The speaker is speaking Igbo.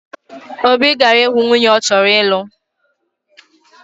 Obi gara ihu nwunye ọ chọrọ ilu